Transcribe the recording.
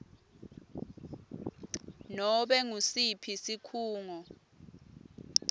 nobe ngusiphi sikhungo